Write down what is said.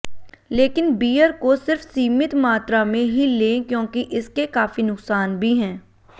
लेकिन बीयर को सिर्फ सीमित मात्रा में ही लें क्योंकि इसके काफी नुकसान भी हैं